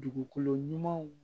Dugukolo ɲumanw